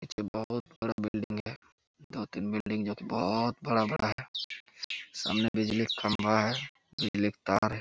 पिच्छे बहुत बड़ा बिल्डिंग है दो - तीन बिल्डिंग जो की बहुत बड़ा - बड़ा है सामने बिजली का खंबा है बिजली का तार है।